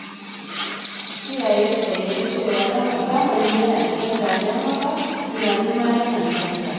Iyaye su fahimci cewa zamani yana canzawa, don haka tunani ma yakan canza.